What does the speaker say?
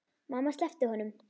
Mamma sleppti honum.